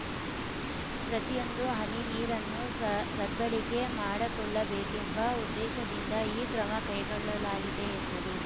ಪ್ರತಿಯೊಂದು ಹನಿ ನೀರನ್ನು ಸ ಸದ್ಬಳಿಕೆ ಮಾಡಕೊಳ್ಳಬೇಕೆಂಬ ಉದ್ದೇಶದಿಂದ ಈ ಕ್ರಮ ಕೈಗೊಳ್ಳಲಾಗಿದೆ ಎಂದರು